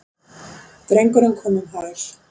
Drengurinn kom um hæl.